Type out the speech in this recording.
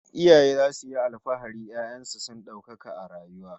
Iyaye zasu yi alfahari 'ya'yan su su daukaka a rayuwa